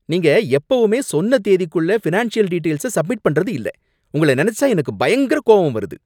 நீங்க எப்பவுமே சொன்ன தேதிக்குள்ள ஃபினான்ஷியல் டீடெயில்ஸ சப்மிட் பண்றது இல்ல, உங்கள நினைச்சா எனக்கு பயங்கர கோவம் வருது!